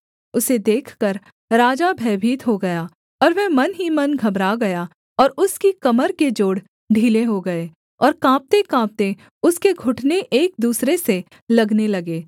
उसे देखकर राजा भयभीत हो गया और वह मन ही मन घबरा गया और उसकी कमर के जोड़ ढीले हो गए और काँपतेकाँपते उसके घुटने एक दूसरे से लगने लगे